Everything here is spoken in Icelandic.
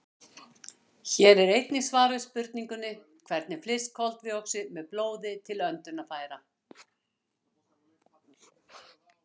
Hér er einnig svar við spurningunni: Hvernig flyst koltvíoxíð með blóði til öndunarfæra?